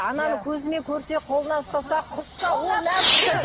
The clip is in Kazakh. ананы көзімен көрсе қолынан ұстаса құшса ол нәпсі